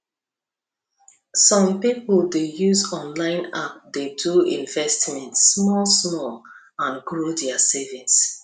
some people dey use online app to do investment smallsmall and grow their savings